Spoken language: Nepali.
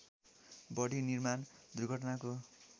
बढी निर्माण दुर्घटनाको